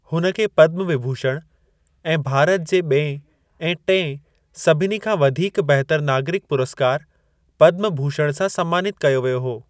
हुन खे पद्म विभूषण ऐं भारत जे ॿिएं ऐं टिएं सभिनी खां वधीक बहितर नागरिक पुरस्कार पद्म भूषण सां सम्मानित कयो वियो हो।